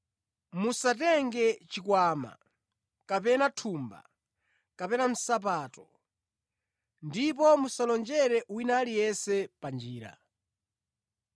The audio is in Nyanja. Musatenge chikwama kapena thumba kapena nsapato; ndipo musalonjere wina aliyense pa njira.